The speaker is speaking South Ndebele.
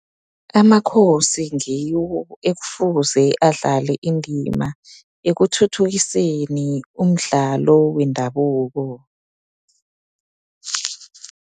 Amakhosi ngiwo ekufuze adlale indima ekuthuthukiseni umdlalo wendabuko.